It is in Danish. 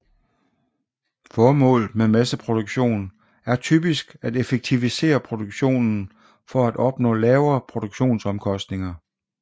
Formålet med masseproduktion er typisk at effektivisere produktionen for at opnå lavere produktionsomkostninger